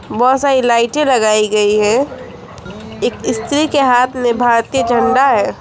बहोत सारी लाइटें लगाई गई हैं एक स्त्री के हाथ में भारतीय झंडा है।